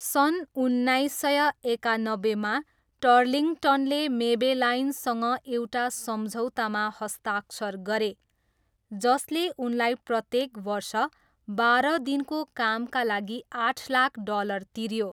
सन् उन्नाइस सय एकानब्बेमा, टर्लिङ्गटनले मेबेलाइनसँग एउटा सम्झौतामा हस्ताक्षर गरे जसले उनलाई प्रत्येक वर्ष बाह्र दिनको कामका लागि आठ लाख डलर तिऱ्यो।